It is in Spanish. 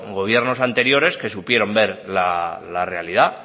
gobiernos anteriores que supieron ver la realidad